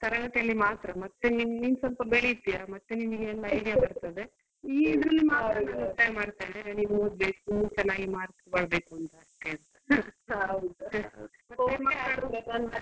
ತರಗತಿ ಅಲ್ಲಿ ಮಾತ್ರ ಮತ್ತೆ ನೀನ್ ನೀನ್ ಸ್ವಲ್ಪ ಬೆಳೀತಿಯ ಮತ್ತೆ ನಿನಿಗೆಲ್ಲ idea ಬರ್ತದೆ ಈ~ ಇದ್ರಲ್ಲಿ ಮಾತ್ರ ನೀ ಓದ್ಬೇಕು ಚನ್ನಾಗಿ mark ಬರ್ಬೇಕು .